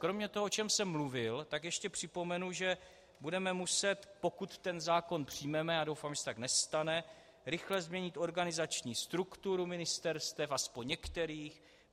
Kromě toho, o čem jsem mluvil, tak ještě připomenu, že budeme muset, pokud ten zákon přijmeme, a doufám, že se tak nestane, rychle změnit organizační strukturu ministerstev, aspoň některých.